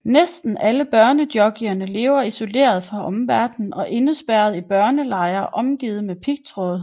Næsten alle børnejockeyerne lever isoleret fra omverdenen og indespærret i børnelejre omgivet med pigtråd